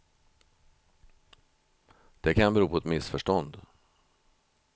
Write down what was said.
Det kan bero på ett missförstånd.